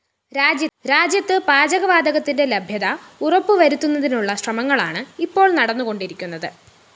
രാജ്യത്ത് പാചകവാതകത്തിന്റെ ലഭ്യത ഉറപ്പുവരുത്തുന്നതിനുള്ള ശ്രമങ്ങളാണ് ഇപ്പോള്‍ നടന്നുകൊണ്ടിരിക്കുന്നത്